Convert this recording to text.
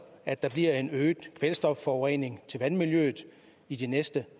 at der bliver en øget kvælstofforurening til vandmiljøet i de næste